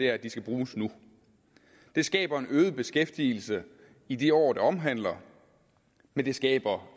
er at de skal bruges nu det skaber en øget beskæftigelse i de år det omhandler men det skaber